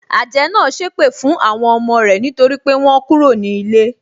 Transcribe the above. Àjẹ́ náà sépè fún àwọn ọmọ rẹ nítorí pé wọ́n kúrò ní ilé.